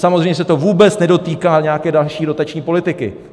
Samozřejmě se to vůbec nedotýká nějaké další dotační politiky.